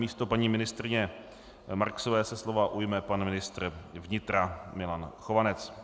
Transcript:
Místo paní ministryně Marksové se slova ujme pan ministr vnitra Milan Chovanec.